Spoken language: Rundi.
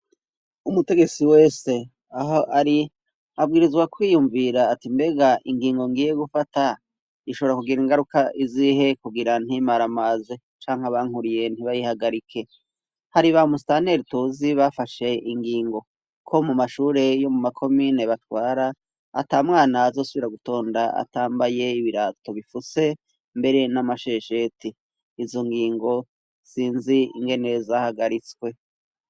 Umutegetsi wese aho ari, abwirizwa kwiyumvira ati mbega ingingo ngiye gufata, ishobora kugira ingaruka izihe kugira ntimaramaze. Canke abankuriye ntibayihagarike. Hari ba musitanteri tuzi bafashe ingingo, ko mu mashure yo mu makomine batwara, atamwana azosubira gutonda atambaye ibirato bifutse, mbere n'amashesheti. Izo ngingo sinzi ingene zahagaritswe.